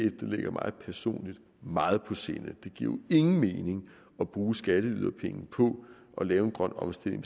ligger mig personligt meget på sinde det giver jo ingen mening at bruge skatteyderpenge på at lave en grøn omstilling